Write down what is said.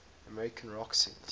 american rock singers